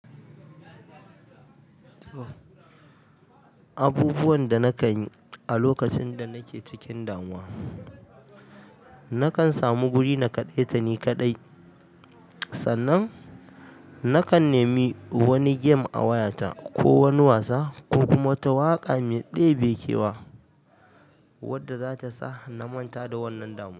Abubuwan da nakan yi a lokacin da nake cikin damuwa, nakan samu guri na kaɗaita ni kaɗai. Sannan, nakan nemi wani game a wayata ko wani wasa ko kuma wata waƙa mai ɗebe kewa wadda zata sa na manta da wannan damuwa.